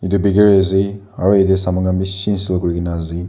etu bakery aze aro yate saman khan bishi sold kurina aze.